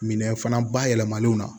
Minɛn fana bayɛlɛmalenw na